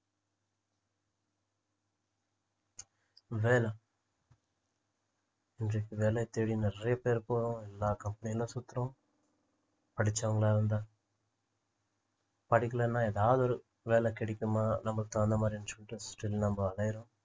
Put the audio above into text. வேலை இன்றைக்கு வேலையை தேடி நிறைய பேர் போறோம் எல்லா company களையும் சுத்துறோம் படிச்சவங்களா இருந்தா படிக்கலன்னா ஏதாவது ஒரு வேலை கிடைக்குமா நமக்கு அந்தமாதிரி நினைச்சிக்கிட்டு சுற்றிலும் நம்ம அலையுறோம்